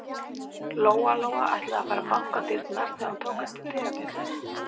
Lóa-Lóa ætlaði að fara að banka á dyrnar þegar hún tók eftir dyrabjöllunni.